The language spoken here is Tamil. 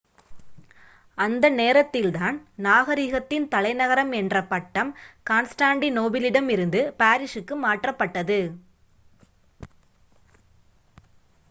அந்த நேரத்தில் தான் நாகரீகத்தின் தலைநகரம் என்ற பட்டம் கான்ஸ்டாண்டிநோபிளிடம் இருந்து பாரிசுக்கு மாற்றப்பட்டது